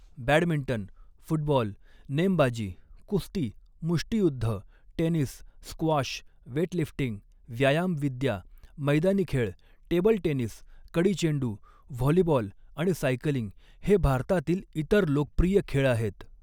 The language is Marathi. बॅडमिंटन, फुटबॉल, नेमबाजी, कुस्ती, मुष्टीयुद्ध, टेनिस, स्क्वॉश, वेटलिफ्टिंग, व्यायामविद्या, मैदानी खेळ, टेबल टेनिस, कडीचेंडू, व्हॉलीबॉल आणि सायकलिंग, हे भारतातील इतर लोकप्रिय खेळ आहेत.